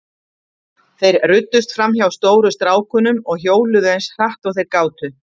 Þeir ruddust fram hjá stóru strákunum og hjóluðu eins hratt og þeir gátu.